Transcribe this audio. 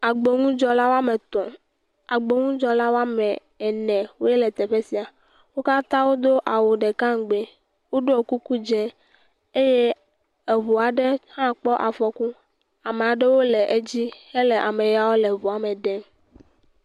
Agbponudzɔla woame etɔ̃, agbonudzɔla woame enewoe le teƒe sia, wo katã wodo awu ɖeka ŋgbee ɖɔ kuku dzɛ eye eŋu aɖe hã kpɔ afɔku, ame aɖewo le edzi hele ameyawo le eŋua me ɖem.